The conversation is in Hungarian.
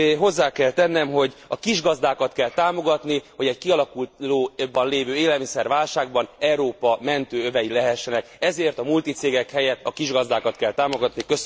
Hozzá kell tennem, hogy a kisgazdákat kell támogatni, hogy egy kialakulóban lévő élelmiszerválságban Európa mentőövei lehessenek, ezért a multicégek helyett a kisgazdákat kell támogatni.